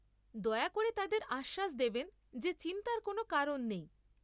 দয়া করে তাদের আশ্বাস দেবেন যে চিন্তার কোন কারণ নেই।